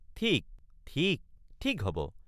ঠিক ঠিক ঠিক হব।